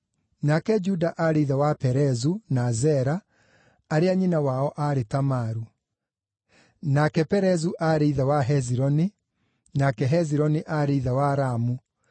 nake Juda aarĩ ithe wa Perezu na Zera, arĩa nyina wao aarĩ Tamaru, nake Perezu aarĩ ithe wa Hezironi, nake Hezironi aarĩ ithe wa Ramu,